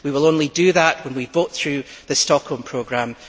We will only do that when we vote through the Stockholm Programme.